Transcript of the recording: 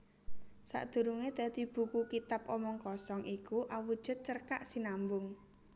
Sadurungé dadi buku Kitab Omong Kosong iku awujud cerkak sinambung